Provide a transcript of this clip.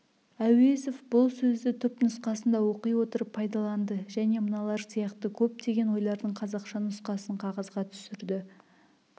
әуезов бұл сөзді түп нұсқасында оқи отырып пайдаланды және мыналар сияқты көптеген ойлардың қазақша нұсқасын қағазға түсірді